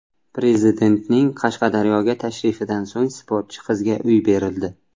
Prezidentning Qashqadaryoga tashrifidan so‘ng sportchi qizga uy berildi.